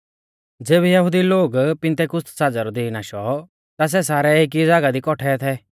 ज़ेबी यहुदी लोगु रौ पिन्तेकुस्त साज़ै रौ दीन आशौ ता सै सारै एकी ज़ागाह दी कौट्ठै थै